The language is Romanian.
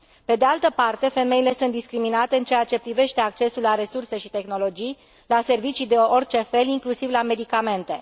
Pe de altă parte, femeile sunt discriminate în ceea ce privește accesul la resurse și tehnologii, la servicii de orice fel, inclusiv la medicamente.